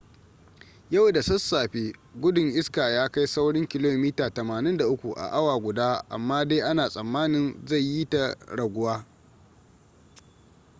yau da sassafe gudun iska ya kai saurin kilomita 83 a awa guda amma dai ana tsammanin zai yi ta raguwa